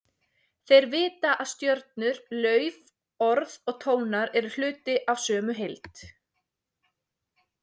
Þeir vita að stjörnur, lauf, orð og tónar eru hluti af sömu heild.